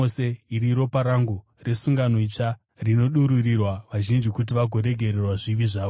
Iri iropa rangu resungano itsva rinodururirwa vazhinji kuti vagoregererwa zvivi zvavo.